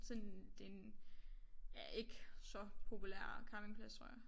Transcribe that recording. Sådan det en ja ikke så populær campingplads tror jeg